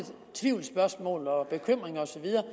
tvivlsspørgsmål og fjerne bekymringer